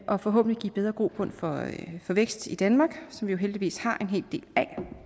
og forhåbentlig give bedre grobund for vækst i danmark som vi jo heldigvis har en hel del